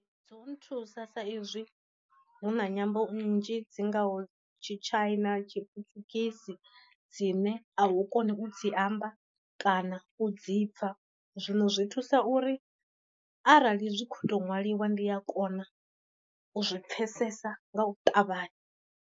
Dzo nthusa sa izwi huna nyambo nnzhi dzi ngaho tshi tshaina, tshi putshugisi dzine a u koni u dzi amba kana u dzi pfa. Zwino zwi thusa uri arali zwi kho to nwaliwa ndi a kona u zwi pfesesa nga u ṱavhanya.